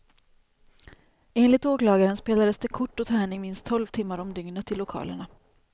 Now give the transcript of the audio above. Enligt åklagaren spelades det kort och tärning minst tolv timmar om dygnet i lokalerna.